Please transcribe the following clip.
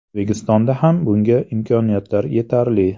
O‘zbekistonda ham bunga imkoniyatlar yetarli.